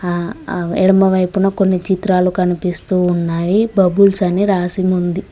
ఆ ఆ ఎడమ వైపున కొన్ని చిత్రాలు కనిపిస్తూ వున్నావి బబుల్స్ అని రాసి ముంది .